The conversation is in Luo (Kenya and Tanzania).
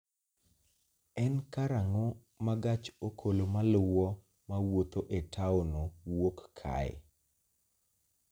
En karang�o ma gach okolomaluwo ma wuotho e taonno wuok kae?